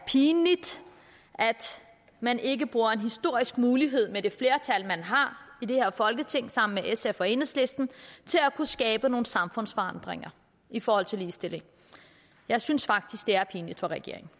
pinligt at man ikke bruger en historisk mulighed med det flertal man har i det her folketing sammen med sf og enhedslisten til at kunne skabe nogle samfundsforandringer i forhold til ligestillingen jeg synes faktisk det er pinligt for regeringen